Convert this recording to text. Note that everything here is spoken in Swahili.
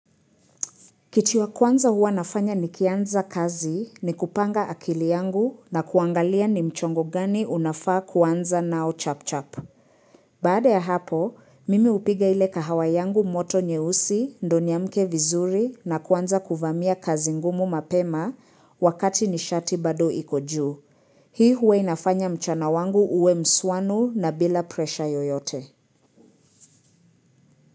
Kitu ya kwanza huwa nafanya ni kianza kazi ni kupanga akili yangu na kuangalia ni mchongo gani unafaa kwanza nao chap chap. Baade ya hapo, mimi upiga ile kahawa yangu moto nyeusi, ndo niamke vizuri na kwanza kuvamia kazi ngumu mapema wakati ni shati bado iko juu. Hii huwa inafanya mchana wangu uwe msuanu na bila presha yoyote.